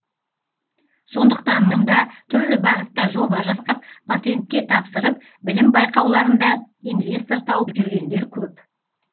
сондықтан мұнда түрлі бағытта жоба жасап патентке тапсырып білім байқауларында инвестор тауып жүргендер көп